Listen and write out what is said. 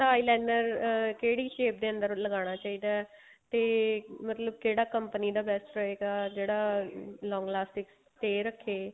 eyeliner ਅਹ ਕਿਹੜੀ shape ਦੇ ਅੰਦਰ ਲੱਗਣਾ ਚਾਹੀਦਾ ਤੇ ਮਤਲਬ ਕਿਹੜਾ company ਦਾ best ਰਹੇਗਾ ਜਿਹੜਾ long elastic stay ਰੱਖੇ